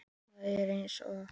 Það er eins og